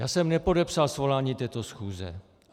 Já jsem nepodepsal svolání této schůze.